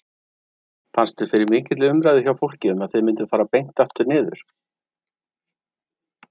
Fannstu fyrir mikilli umræðu hjá fólki um að þið mynduð fara beint aftur niður?